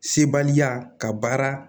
Sebaya ka baara